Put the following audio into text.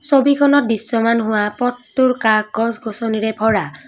ছবিখনত দৃশ্যমান হোৱা পথটোৰ কাষ গছ-গছনিৰে ভৰা।